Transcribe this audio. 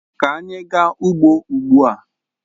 Ka anyị gaa ugbo ugbu a!